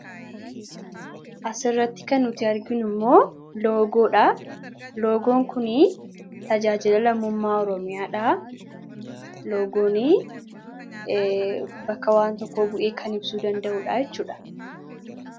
Asirratti kan nuti arginu immoo loogoodha. Loogoon kunii Tajaajila Lammumaa Oromiyaa dha. Loogoonii bakka waan tokkoo bu'ee kan ibsuu danda'uu dha jechuudha.